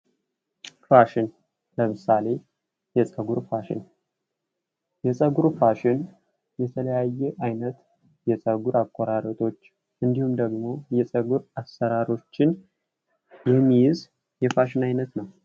ፋሽን ለምሳሌ የፀጉር ፋሽን፦ የፀጉር ፋሽን የለያዩ አይነት የፀጉር አቆራርጦችን እንዲሁም ደግሞ የፀጉር አሰራሮችን የሚይዝ የፋሽን አይነት ነው።